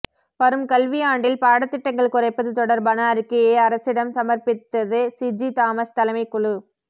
வரும் கல்வி ஆண்டில் பாடத்திட்டங்கள் குறைப்பது தொடர்பான அறிக்கையை அரசிடம் சமர்ப்பித்தது சிஜி தாமஸ் தலைமை குழு